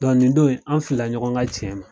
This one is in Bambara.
nin don in an fili la ɲɔgɔn ka tiɲɛ ma.